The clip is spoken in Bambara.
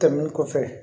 Tɛmɛnen kɔfɛ